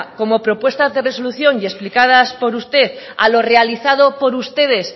como propuestas de resolución y explicadas por usted a lo realizado por ustedes